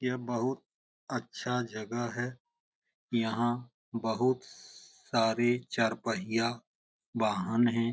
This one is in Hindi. ये बहुत अच्छा जगह है यहाँ बहुत सारे चार पहिया वाहन है।